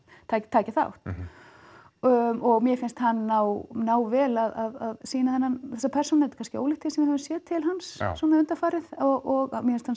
taki taki þátt og og mér finnst hann ná ná vel að sýna þessa persónu þetta er kannski ólíkt því sem við höfum séð til hans undanfarið og mér finnst hann